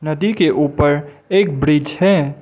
नदी के ऊपर एक ब्रिज है।